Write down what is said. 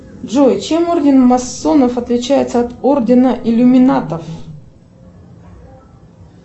джой чем орден масонов отличается от ордена иллюминатов